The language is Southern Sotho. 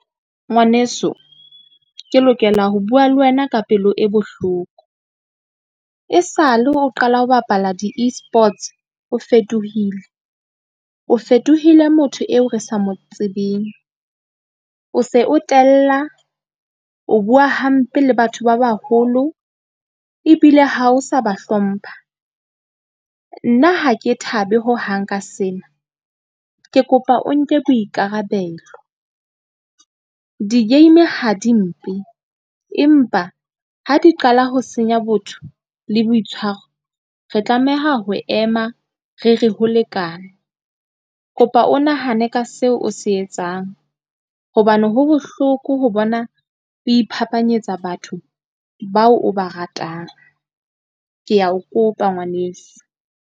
Ngwaneso, ke lokela ho bua le wena ka pelo e bohloko. E sale o qala ho bapala di-E-sports, o fetohile, o fetohile motho eo re sa mo tsebeng, o se o tella o bua hampe le batho ba baholo. Ebile ha o sa ba hlompha nna ha ke thabe hohang ka sena. Ke kopa o nke boikarabelo di-game ha di mpe. Empa ha di qala ho senya botho le boitshwaro. Re tlameha ho ema re re ho lekane. Kopa o nahane ka seo o se etsang hobane ho bohloko ho bona o iphapanyetsa batho bao o ba ratang, ke a o kopa ngwaneso.